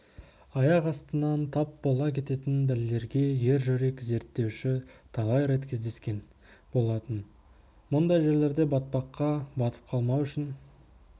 аяқ астынан тап бола кететін бәлелерге ержүрек зерттеуші талай рет кездескен болатын мұндай жерлерде батпаққа батып қалмау үшін